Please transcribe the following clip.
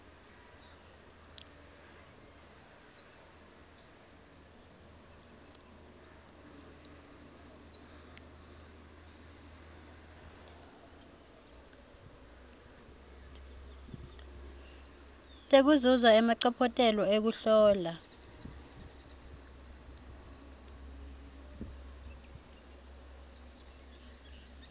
tekuzuza emacophelo ekuhlola